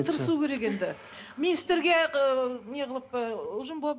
тырысу керек енді министрге ыыы не қылып ы ұжым болып